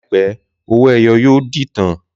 Làìpé, owó-ẹyọ yóò di ìtàn